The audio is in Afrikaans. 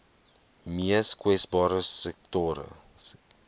mees kwesbare sektore